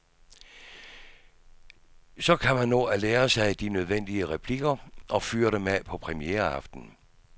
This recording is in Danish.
Så kan man nå at lære sig de nødvendige replikker og fyre dem af på premiereaftenen.